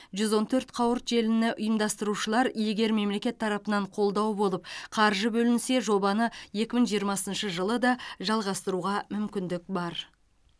жүз он төрт қауырт желіні ұйымдастырушылар егер мемлекет тарапынан қолдау болып қаржы бөлінсе жобаны екі мың жиырмасыншы жылы да жалғастыруға мүмкіндік бар